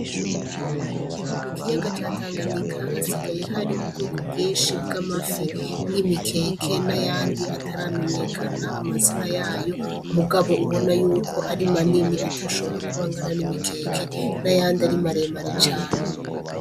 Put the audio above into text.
Mukiyaga ca tanganyika hasigaye har'ubwoko bwinshi bw'amafi n'imikeke n'ayandi ataramenyekana amazina yayo mugabo ubonako ari manini atoshobora kuba angana n'imikeke, n'ayandi ari maremare cane.